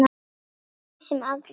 Hann hlær sem aldrei fyrr.